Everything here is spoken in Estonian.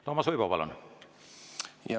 Toomas Uibo, palun!